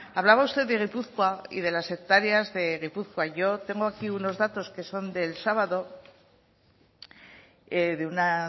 hablaba usted de guipúzcoa y de las hectáreas de guipúzcoa yo tengo aquí unos datos que son del sábado de una